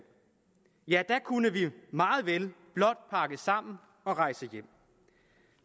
ja da kunne vi meget vel blot pakke sammen og rejse hjem